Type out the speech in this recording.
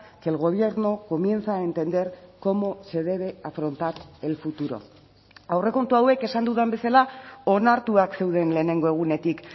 que el gobierno comienza a entender cómo se debe afrontar el futuro aurrekontu hauek esan dudan bezala onartuak zeuden lehenengo egunetik